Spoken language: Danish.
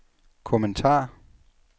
kommentar